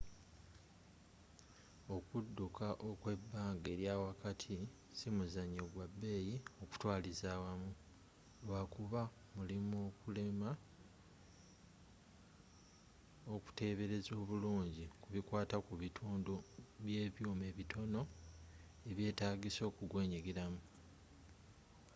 okudduka okw'ebbanga eryawakati si muzanyo gwa bbeyi okutwaliza awamu lwakuba mulimu okulemwa okutebereza obulungi kubikwata ku bitundu by'ebyuma ebitono eby'etagiisa okwenyigiramu